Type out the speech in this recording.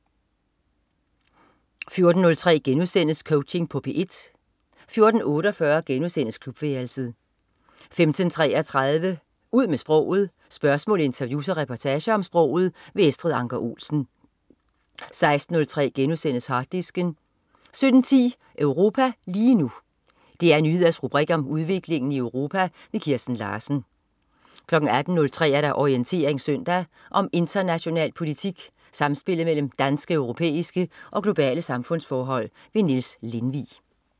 14.03 Coaching på P1* 14.48 Klubværelset* 15.33 Ud med sproget. Spørgsmål, interviews og reportager om sproget. Estrid Anker Olsen 16.03 Harddisken* 17.10 Europa lige nu. DR Nyheders rubrik om udviklingen i Europa. Kirsten Larsen 18.03 Orientering søndag. Om international politik, samspillet mellem danske, europæiske og globale samfundsforhold. Niels Lindvig